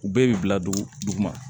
U bɛɛ bi bila dugu ma